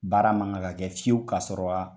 Baara ma kan ka kɛ fiyewu ka sɔrɔ a